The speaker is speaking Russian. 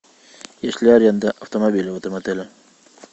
есть ли аренда автомобиля в этом отеле